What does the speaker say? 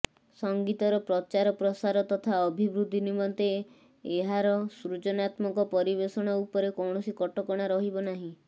ସଙ୍ଗୀତର ପ୍ରଚାର ପ୍ରସାର ତଥା ଅଭିବୃଦ୍ଧି ନିମନ୍ତେ ଏହାରା ସୃଜନାତ୍ମକ ପରିବେଷଣ ଉପରେ କୌଣସି କଟକଣା ରହିବନାହିଁ